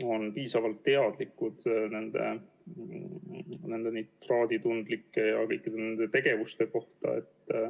on ikkagi piisavalt teadlikud nendest nitraaditundlikest aladest ja kõikidest nendest tegevustest.